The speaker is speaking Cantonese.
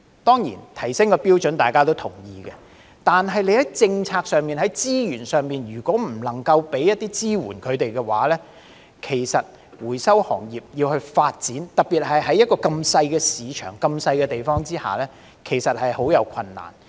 當然提升標準是大家也同意的，但如政府在政策上、資源上未能提供一些支援，回收行業要發展，特別在這麼小的市場、這麼小的地方下，其實是很困難的。